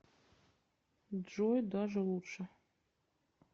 джой даже лучше